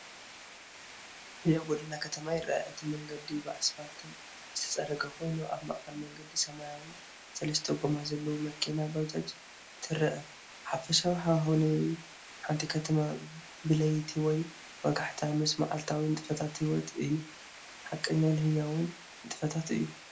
ህያው ጎደና ከተማ ይረአ፣ እቲ መንገዲ ብኣስፋልት ዝተፀረገ ኮይኑ፣ ኣብ ማእኸል መንገዲ ሰማያዊት ሰለስተ ጎማ ዘለዋ መኪና (ባጃጅ) ትረአ። ሓፈሻዊ ሃዋህው ናይ ሓንቲ ከተማ ብለይቲ ወይ ወጋሕታ፡ ምስ መዓልታዊ ንጥፈታት ህይወት እዩ። ሓቀኛን ህያውን ንጥፈታት እዩ።